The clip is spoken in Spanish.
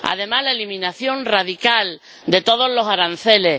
además, la eliminación radical de todos los aranceles.